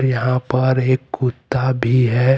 यहां पर एक कुत्ता भी है।